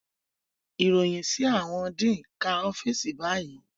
Iroyin si awọn dean ká ọfiisi bayi